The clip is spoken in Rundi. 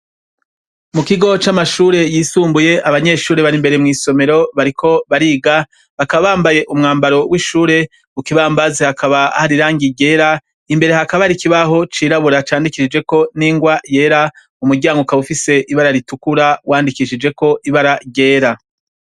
Mu kigo c'amashure yisumbuye abanyeshuri bari imbere mw'isomero bariko bariga bakabambaye umwambaro w'ishure mu kibambazi hakaba harirangi ryera imbere hakaba arikibaho cirabura candikisijeko n'ingwa yera mu muryango kaba ufise ibara ritukura wandikishijeko ibara ryera.